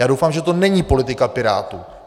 Já doufám, že to není politika Pirátů.